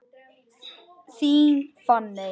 Þín, Fanney.